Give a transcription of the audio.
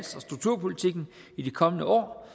strukturpolitikken i de kommende år